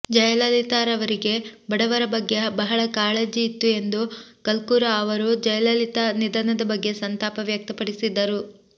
ಜಯಲಲಿತಾರವರಿಗೆ ಬಡವರ ಬಗ್ಗೆ ಬಹಳ ಕಾಳಜಿ ಇತ್ತು ಎಂದು ಕಲ್ಕೂರ ಅವರು ಜಯಲಲಿತಾ ನಿಧನದ ಬಗ್ಗೆ ಸಂತಾಪ ವ್ಯಕ್ತಪಡಿಸಿದರು